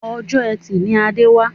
Ọjọ́ etì ni Adé wà